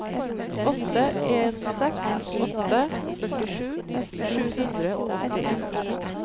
åtte en seks åtte førtisju sju hundre og åttien